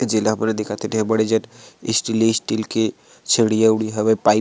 ए जेला हमन ह देखत हन एहा बड़े जन स्टीले स्टील के छड़ी उडी हवे पाइप --